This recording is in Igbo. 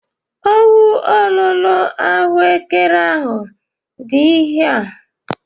Ọwụ ololo ahuekere ahụ dị ihe ahụ?